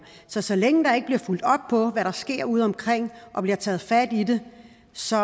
så så længe der ikke bliver fulgt op på hvad der sker udeomkring og bliver taget fat i det så